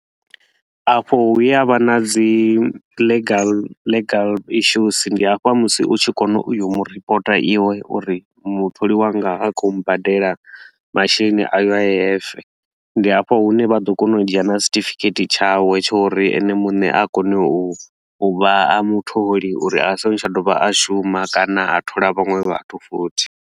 Afho hu ya vha na dzi legal legal issues, ndi hafha musi u tshi kona u yo mu reporter iwe uri mutholi wanga ha khou mbadela masheleni a U_I_F. Ndi hafho hune vha ḓo kona u dzhia na certificate tshawe tsha uri ene muṋe a kone u u vha mutholi uri a so ngo tsha dovha a shuma kana a thola vhaṅwe vhathu futhi